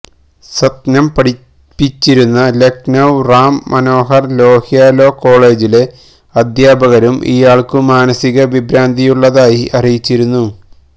സത്നം പഠിച്ചിരുന്ന ലക്നൌ റാം മനോഹര് ലോഹ്യ ലോ കോളേജിലെ അധ്യാപകരും ഇയാള്ക്കു മാനസികവിഭ്രാന്തിയുള്ളതായി അറിയിച്ചിരുന്നു